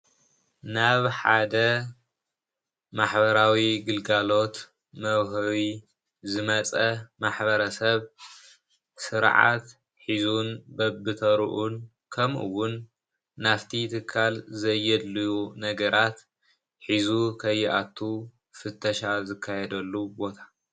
ናብ ሓደ ማሕበራዊ ግልጋሎት መዉሀቢ ዝመጸ ማሕበረሰብ ስርዓት ሒዙን በብተሩኡን ከምኡ እዉን ናፍቲ ትካል ዘየድልዩ ነገራት ሒዙ ከየኣትው ፍተሻ ዝካየደሉ ቦታ።